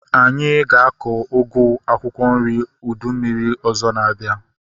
Anyị ga-akọ ugu akwụkwọ nri ụdị mmiri ọzọ na-abịa